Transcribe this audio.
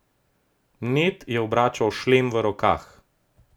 Ned je obračal šlem v rokah.